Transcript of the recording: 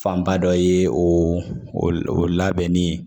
Fanba dɔ ye o labɛnnen ye